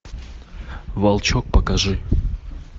волчок покажи